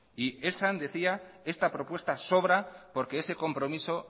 y esan decía esta propuesta sobra porque ese compromiso